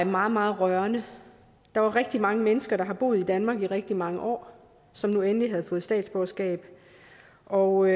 meget meget rørende der var rigtig mange mennesker der har boet i danmark i rigtig mange år som nu endelig havde fået statsborgerskab og